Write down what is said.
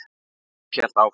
Smári hélt áfram.